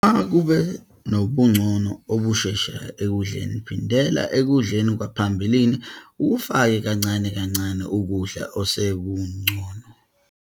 Uma kube nobungcono obusheshayo ekudleni, phindela ekudleni kwaphambilini ukufake kancane kancane ukudla osekungcono.